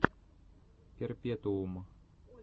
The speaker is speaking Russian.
перпетуум